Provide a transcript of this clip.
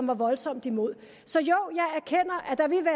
var voldsomt imod så jo jeg erkender